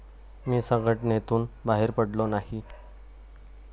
मी संघटनेतून बाहेर पडलो नाही.